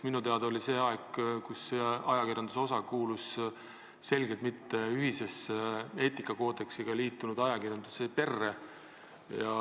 Minu teada oli siis see aeg, kui see ajakirjanduse osa ei kuulunud ühisesse, eetikakoodeksiga liitunud ajakirjanduse perre.